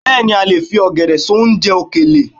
Bẹ́ẹ̀ni a lè fi ọ̀gẹ̀dẹ̀ ṣe oúnjẹ òkèlè